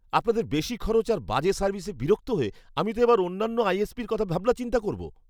আপনাদের বেশি খরচ আর বাজে সার্ভিসে বিরক্ত হয়ে আমি তো এবার অন্যান্য আইএসপির কথা ভাবনাচিন্তা করবো।